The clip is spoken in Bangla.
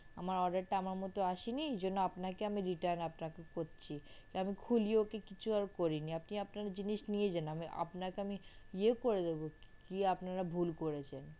আমার order টা আমার মতো আসেনি এরজন্য আপনাকে আমি return করছি, আমি খুলে ওকে আর কিছু করিনি আপনি আপনার জিনিস নিয়ে যান, আপনাকে আমি ইয়েও করে দেব কি আপনারা ভুল করেছেন